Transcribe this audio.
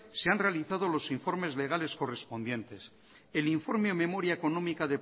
se han realizado los informes legales correspondientes el informe a memoria económica